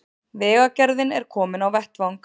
Vegagerðin er komin á vettvang